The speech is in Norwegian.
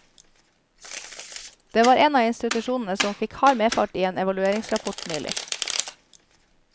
Det var en av institusjonene som fikk hard medfart i en evalueringsrapport nylig.